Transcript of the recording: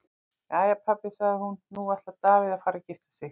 Jæja pabbi, sagði hún, nú ætlar Davíð að fara að gifta sig.